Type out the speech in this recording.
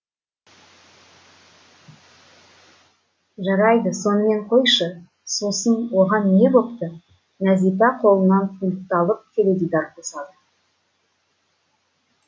жарайды сонымен қойшы сосын оған не бопты нәзипа қолына пультты алып теледидар қосады